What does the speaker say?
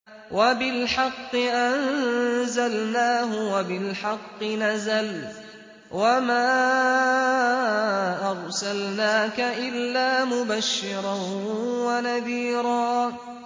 وَبِالْحَقِّ أَنزَلْنَاهُ وَبِالْحَقِّ نَزَلَ ۗ وَمَا أَرْسَلْنَاكَ إِلَّا مُبَشِّرًا وَنَذِيرًا